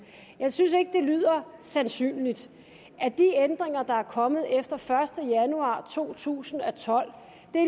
jeg synes ikke at det lyder sandsynligt at de ændringer der er kommet efter første januar to tusind og tolv